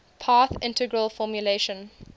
path integral formulation